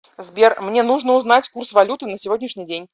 сбер мне нужно узнать курс валюты на сегодняшний день